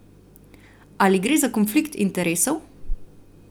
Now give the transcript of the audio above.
Ali gre za konflikt interesov?